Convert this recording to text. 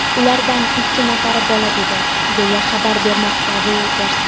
Ulardan ikki nafari bola edi, deya xabar bermoqda Reuters.